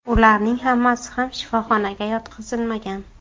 Ularning hammasi ham shifoxonaga yotqizilmagan.